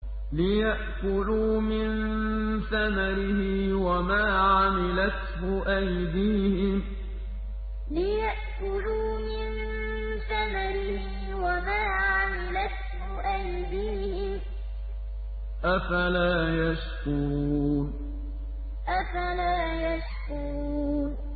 لِيَأْكُلُوا مِن ثَمَرِهِ وَمَا عَمِلَتْهُ أَيْدِيهِمْ ۖ أَفَلَا يَشْكُرُونَ لِيَأْكُلُوا مِن ثَمَرِهِ وَمَا عَمِلَتْهُ أَيْدِيهِمْ ۖ أَفَلَا يَشْكُرُونَ